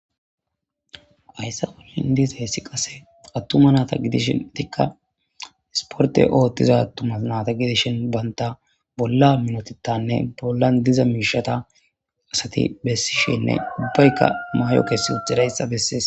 ayssa olin disa hessi qase attuma naata gidishin etikka isporte ooththiza attumas naata gidishin banta bolla minotetanne bollan diza miishata asati bessishenne ubbaykka maay7o kessi utidayssa bessees